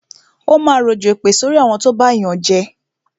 Ó máa rọ̀jọ̀ èpè sorí àwọn tó bá yànjẹ